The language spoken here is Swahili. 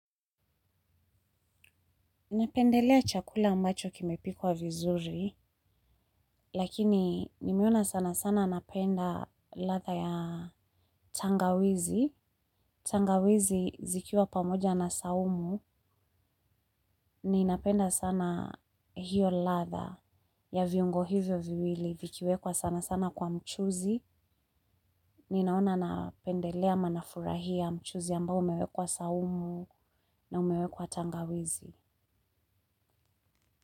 Napendelea chakula ambacho kimepikwa vizuri, lakini nimeona sana sana napenda ladha ya tangawizi. Tangawizi zikiwa pamoja na saumu, ninapenda sana hiyo ladha ya viungo hivyo viwili vikiwekwa sana sana kwa mchuzi. Ninaona napendelea ama nafurahia mchuzi ambao umewekwa saumu na umewekwa tangawizi.